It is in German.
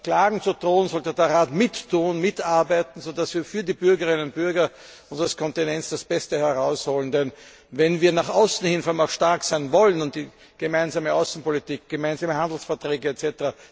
Klagen zu drohen, sollte der Rat mitarbeiten, so dass wir für die Bürgerinnen und Bürger unseres Kontinents das Beste herausholen. Denn wenn wir nach außen hin stark sein wollen und die gemeinsame Außenpolitik, gemeinsame Handelsverträge etc.